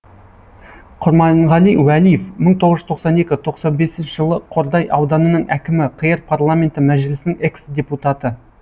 құрманғали уәлиев мың тоғыз жүз тоқсан екі тоқсан бесінші жылы қордай ауданының әкімі қр парламенті мәжілісінің экс депутаты